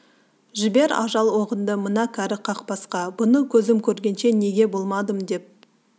жібер ажал оғыңды мына кәрі қақбасқа бұны көзім көргенше неге болмадым деп